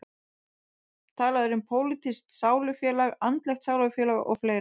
Talað er um pólitískt sálufélag, andlegt sálufélag og fleira.